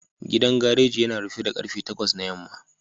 Gidan gareji yana rufe da karfe takwas na yamma